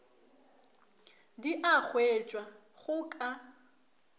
di a hwetšwa go ka